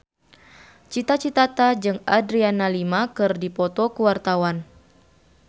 Cita Citata jeung Adriana Lima keur dipoto ku wartawan